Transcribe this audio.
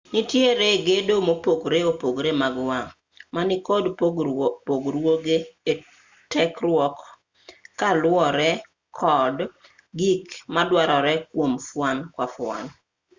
nitiere gedo mopogore opogore mag wang' ma nikod pogruoge e tekruok ka luwore kod gik maduarore kwom fuon ka fuon